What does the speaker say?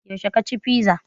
Yaushe ka ci fiza?